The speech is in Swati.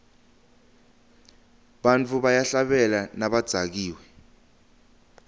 bantfu bayahlabela nabadzakiwe